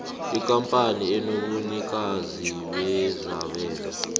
ikampani enobunikazi bezabelo